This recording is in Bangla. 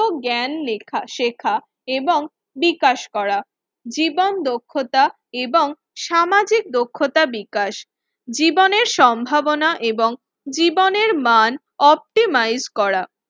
জ্ঞান লেখা শেখা এবং বিকাশ করা জীবন দক্ষতা এবং সামাজিক দক্ষতা বিকাশ। জীবনের সম্ভাবনা এবং জীবনের মান অপটিমাইজ করা